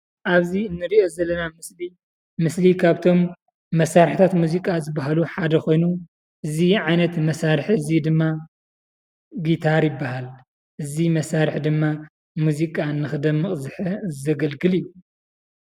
ኣብዚ እንሪኦ ዘለና ምስሊ ምስሊ ካብቶም መሳርሕታት ሙዚቃ ዝበሃሉ ሓደ ኮይኑ እዚ ዓይነት መሳርሒ እዚ ድማ ጊታር ይብሃል። እዚ መሳርሒ ድማ ሙዚቃ ንኽደምቕ ዘገልግል እዩ።